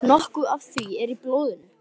Nokkuð af því er í blóðinu.